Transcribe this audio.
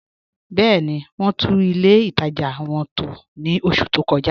Bẹẹ̀ni, wọn tún ilẹ̀ ìtaja wọn tó ní ọṣù tó kọ̀ja